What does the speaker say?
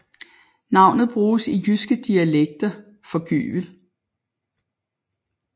Navnet bruges i jyske dialekter for gyvel